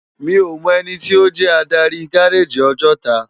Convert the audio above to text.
Mi ó mò èniti ó jè ádári gáráji Òjòtá